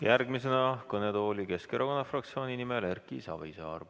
Järgmisena kõnetooli Keskerakonna fraktsiooni nimel Erki Savisaar.